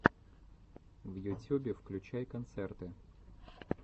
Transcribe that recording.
в ютюбе включай концерты